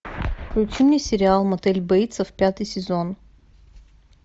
включи мне сериал мотель бейтсов пятый сезон